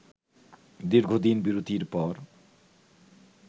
দীর্ঘদিন বিরতির পর